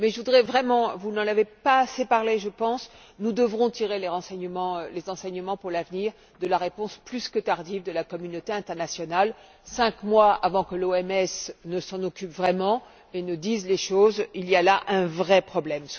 Mais je voudrais vraiment vous n'en avez pas assez parlé, je pense que nous tirions les enseignements pour l'avenir de la réponse plus que tardive de la communauté internationale. Cinq mois avant que l'OMS ne s'en occupe vraiment et ne dise les choses, il y a là un vrai problème.